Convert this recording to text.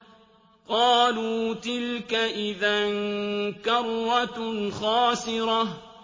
قَالُوا تِلْكَ إِذًا كَرَّةٌ خَاسِرَةٌ